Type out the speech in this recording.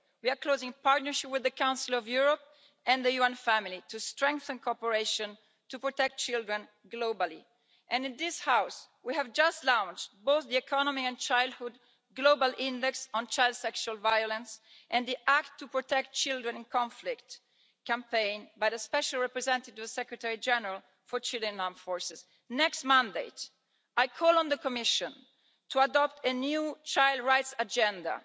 We are in close partnership with the Council of Europe and the UN family to strengthen cooperation to protect children globally, and in this House we have just launched both the economy and childhood global index on child sexual violence and the act to protect children in conflict' campaign by the Special Representative of the Secretary General for Children and Armed Conflict. For the next mandate, I call on the Commission to adopt a new child rights agenda,